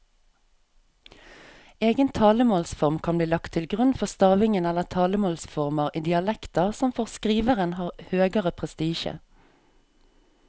Egen talemålsform kan bli lagt til grunn for stavingen eller talemålsformer i dialekter som for skriveren har høgere prestisje.